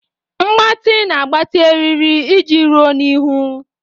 Mgbatị na-agbatị eriri iji ruo n'ihu.